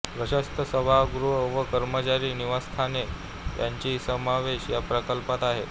प्रशस्त सभागृह व कर्मचारी निवासस्थाने यांचाही समावेश या प्रकल्पात आहे